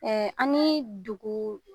Ɛɛ an ni dugu